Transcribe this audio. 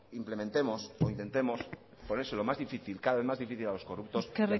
implementemos o intentemos ponérselo cada vez más difícil a los corruptos a la